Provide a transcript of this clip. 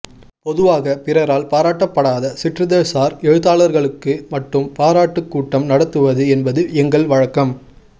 பொதுவாக பிறரால் பாராட்டப்படாத சிற்றிதழ்சார் எழுத்தாளர்களுக்கு மட்டும் பாராட்டுக்கூட்டம் நடத்துவது என்பது எங்கள் வழக்கம்